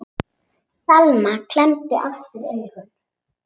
Selma klemmdi aftur augun.